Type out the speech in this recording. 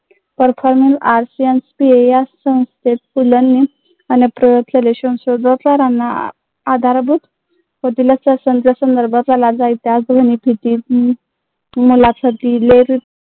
या संस्थेत पु ल नी